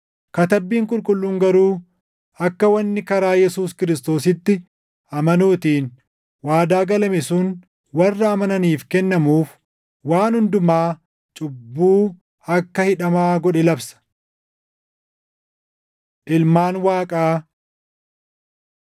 Katabbiin Qulqulluun garuu akka wanni karaa Yesuus Kiristoositti amanuutiin waadaa galame sun warra amananiif kennamuuf waan hundumaa cubbuu akka hidhamaa godhe labsa. Ilmaan Waaqaa